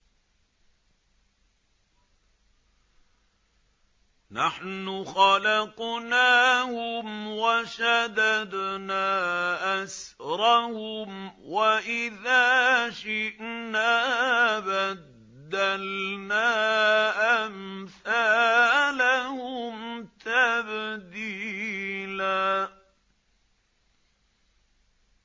نَّحْنُ خَلَقْنَاهُمْ وَشَدَدْنَا أَسْرَهُمْ ۖ وَإِذَا شِئْنَا بَدَّلْنَا أَمْثَالَهُمْ تَبْدِيلًا